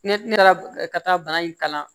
Ne ne taara ka taa bana in kalan